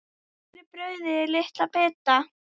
Skerið brauðið í litla bita.